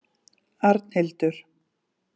Arnhildur